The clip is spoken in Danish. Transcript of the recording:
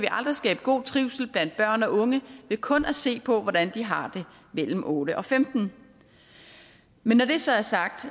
aldrig skabe god trivsel blandt børn og unge ved kun at se på hvordan de har det mellem otte og femtende men når det så er sagt